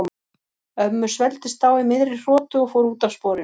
Ömmu svelgdist á í miðri hrotu og fór út af sporinu.